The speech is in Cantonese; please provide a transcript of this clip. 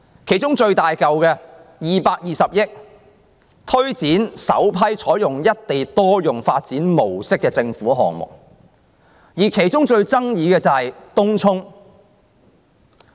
其中獲撥款金額最大的，是推展首批採用"一地多用"發展模式的政府項目，而最受爭議的是東涌。